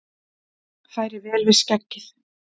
Færi vel við skeggið!